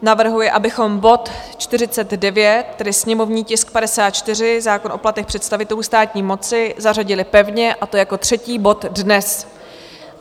Navrhuje, abychom bod 49, tedy sněmovní tisk 54, zákon o platech představitelů státní moci, zařadili pevně, a to jako třetí bod dnes.